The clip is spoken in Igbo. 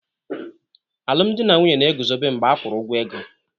Alụmdi na nwunye na-eguzobe mgbe a kwụrụ ụgwọ ego.